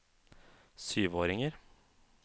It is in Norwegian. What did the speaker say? syvåringer